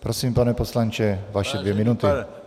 Prosím, pane poslanče, vaše dvě minuty.